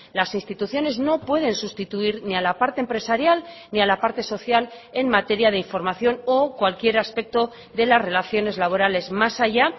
las instituciones no pueden sustituir ni a la parte empresarial ni a la parte social en materia de información o cualquier aspecto de las relaciones laborales más allá